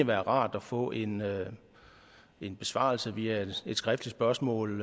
være rart at få en en besvarelse via et skriftligt spørgsmål